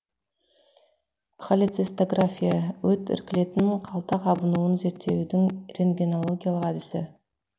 холецистография өт іркілетін қалта қабынуын зерттеудің рентгенологиялық әдісі